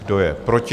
Kdo je proti?